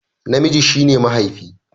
Namiji shi ne mahaifi